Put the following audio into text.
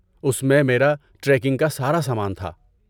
اس میں میرا ٹریکنگ کا سارا سامان تھا۔